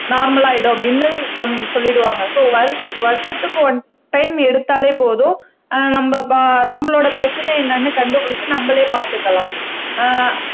normal ஆயிடும் அப்படின்னு சொல்லிடுவாங்க சோ வருஷ வருஷத்துக்கு ஒன் டைம் எடுத்தாலே போதும் ஆஹ் நம்ம ப நம்மளோட பிரச்சனை என்னன்னு கண்டுபிடிச்சு நம்மளே பார்த்துக்கலாம் ஆஹ்